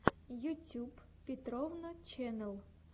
ютьюб петровна ченнэл